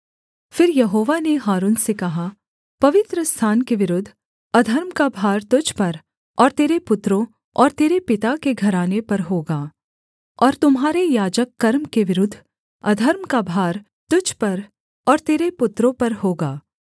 फिर यहोवा ने हारून से कहा पवित्रस्थान के विरुद्ध अधर्म का भार तुझ पर और तेरे पुत्रों और तेरे पिता के घराने पर होगा और तुम्हारे याजक कर्म के विरुद्ध अधर्म का भार तुझ पर और तेरे पुत्रों पर होगा